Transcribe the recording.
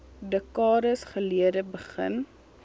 dekades gelede begin